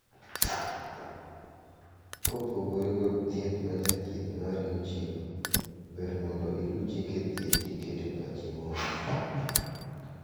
Kopogore kod thieth ma jathieth mari ochiwo, ber mondo iluu chike thieth kiketo pachi mos.